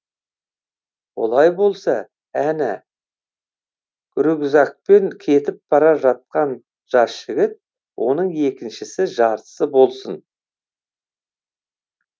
олай болса әне рюкзакпен кетіп бара жатқан жас жігіт оның екінішісі жартысы болсын